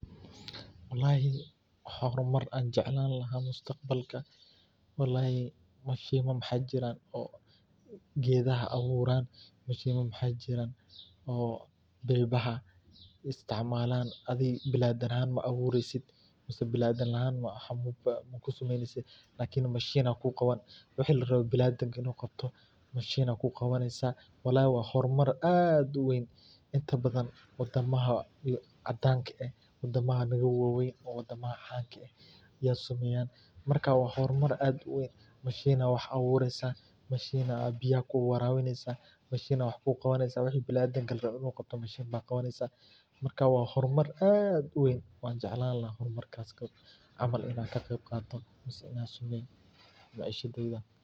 Walhi waxan hormar jacelani lahay mustaqbalka walhi mashimo maxa jiran gadaha awurayan mashimo wax jiran oo ilbaha isticmalan biladan ahan ma awursid masah biladan ma kusamaynasid lkn mashin aya kuqawini wixi la raba biladanka inu qabtoh mashin aya ku qawansah walhi wa hormar aad uwan inta baadan wadamaha cadanka ah wadamaha naga wawan oo wadamaha aya samayan marka wa hormar aad uwan mashin aya wax awurisah mashin aya biyaha ku warawinasah masha aya wax qawansah wixi biladanka la rabii inay ku qabtan, mashinta qawansah marka wa hormar aad uwaan waxan jacelani lahay hormakas camal ina samayo.